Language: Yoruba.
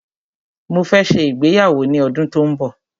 Mó fẹ́ ṣe ìgbéyàwó ní ọdún tó n bọ̀.